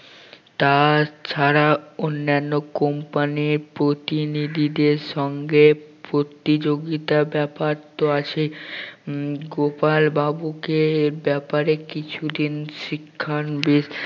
তাছাড়া অন্যান্য company র প্রতিনিধিদের সঙ্গে প্রতিযোগিতা ব্যাপার তো আছেই উম গোপাল বাবুকে এ ব্যাপারে কিছু দিন শিক্ষানবিদ